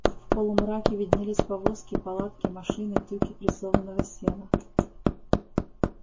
в полумраке виднелись повозки палатки машины тюки прессованного сена